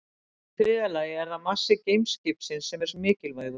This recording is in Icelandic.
Í þriðja lagi er það massi geimskipsins sem er mikilvægur.